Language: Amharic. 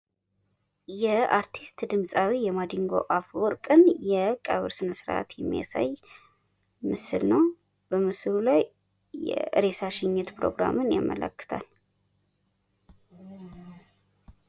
የአርቲስት የድምፃዊ የማዲንጎ አፈወርቅን የቀብር ስነ ስርአት የሚያሳይ ምስል ነው በምስሉ ላይ የሬሳ ሽኝት ፕሮግራምን ያመላክታል ።